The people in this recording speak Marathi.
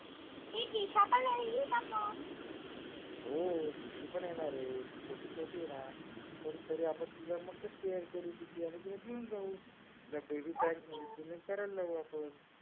हो दिशू पण येणार आहे ती छोटी छोटी आहे ना? पण तरी मस्त care करू तिची आणि तिला घेऊन जाऊ तिला बेआबी pad नी swimming करायला लाऊ आपण